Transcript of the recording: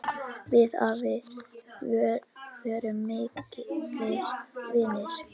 Við afi vorum miklir vinir.